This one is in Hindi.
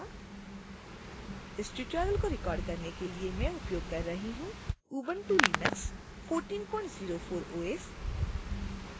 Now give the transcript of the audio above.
इस ट्यूटोरियल को रिकॉर्ड करने के लिए मैं उपयोग कर रही हूँ ubuntu linux 1404 os